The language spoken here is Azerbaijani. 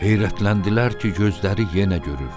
Heyrətləndilər ki, gözləri yenə görür.